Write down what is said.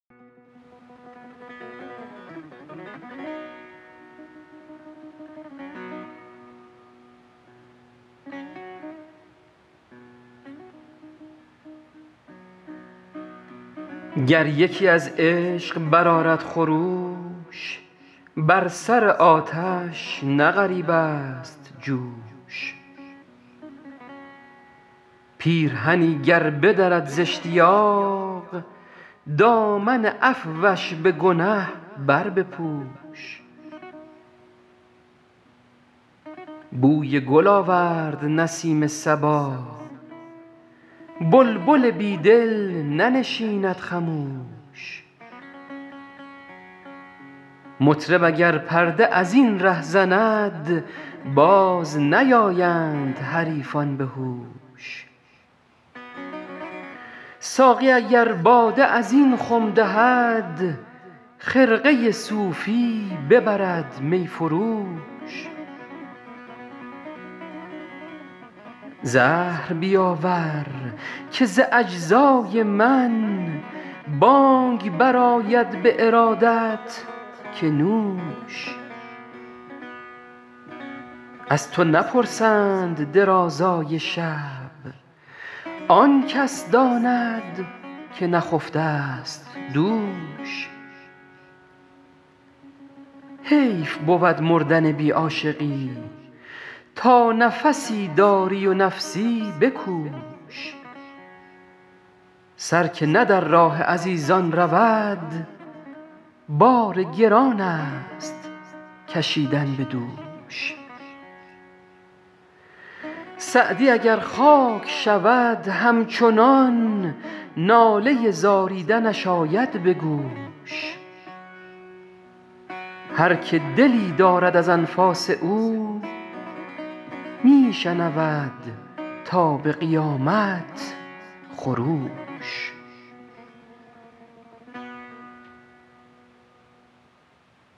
گر یکی از عشق برآرد خروش بر سر آتش نه غریب است جوش پیرهنی گر بدرد زاشتیاق دامن عفوش به گنه بربپوش بوی گل آورد نسیم صبا بلبل بی دل ننشیند خموش مطرب اگر پرده از این ره زند باز نیایند حریفان به هوش ساقی اگر باده از این خم دهد خرقه صوفی ببرد می فروش زهر بیاور که ز اجزای من بانگ برآید به ارادت که نوش از تو نپرسند درازای شب آن کس داند که نخفته ست دوش حیف بود مردن بی عاشقی تا نفسی داری و نفسی بکوش سر که نه در راه عزیزان رود بار گران است کشیدن به دوش سعدی اگر خاک شود همچنان ناله زاریدنش آید به گوش هر که دلی دارد از انفاس او می شنود تا به قیامت خروش